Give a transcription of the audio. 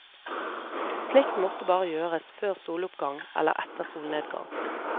Slikt måtte bare gjøres før soloppgang eller etter solnedgang.